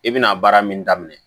I bɛna baara min daminɛ